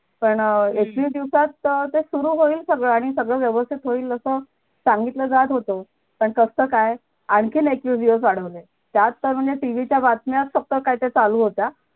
पण अं एकवीस दिवसात त ते सुरु होईल सगळ आणि सगळं व्यवस्तीत होईल अस सांगीतलं जात होत पण कसलं काय आणखीन एकवीस दिवस वाढवले त्यात तर म्हणजे tv च्या बातम्या फक्त काय त्या चालू होत्या